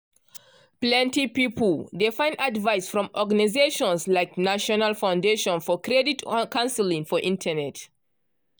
plenty pipu dey find advice from organizations like national foundation for credit counseling for internet.